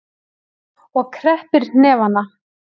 Og kreppir hnefana.